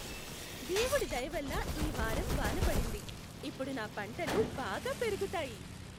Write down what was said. దేవుడి దయవల్ల ఈ వారం వాన పడింది. ఇప్పుడు నా పంటలు బాగా పెరుగుతాయి.